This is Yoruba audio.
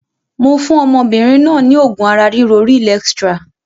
Mo fún ọmọbìnrin náà ni oògùn ara ríro Real Extra